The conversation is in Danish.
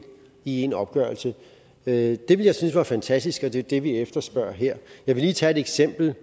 i én opgørelse det ville jeg synes var fantastisk og det er jo det vi efterspørger her jeg vil lige tage et eksempel